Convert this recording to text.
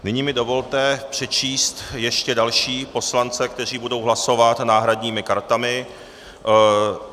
Nyní mi dovolte přečíst ještě další poslance, kteří budou hlasovat náhradními kartami.